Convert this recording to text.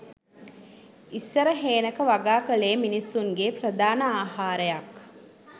ඉස්සර හේනක වගා කලේ මිනිසුන්ගේ ප්‍රධාන ආහාරයක්